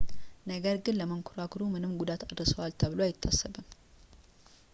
ነገር ግን ለመንኮራኩሩ ምንም ጉዳት አድርሰዋል ተብሎ አይታሰብም